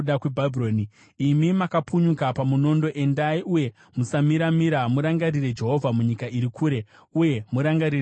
Imi makapunyuka pamunondo, endai uye musamira-mira! Murangarire Jehovha munyika iri kure, uye murangarire Jerusarema.”